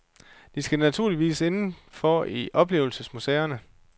De skal naturligvis inden for i oplevelsesmuseerne.